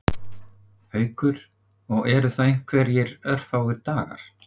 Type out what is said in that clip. Haukur: Og eru það einhverjir örfáir dagar?